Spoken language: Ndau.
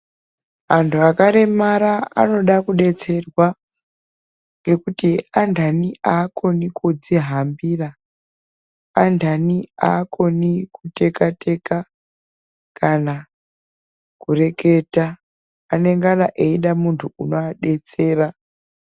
Anthu akaremara anoda kudetserwa ngekuti andani aakoni kudzihambira andani aakoni kuteka teka kana kureketa anongana eide munthu unoadetsera.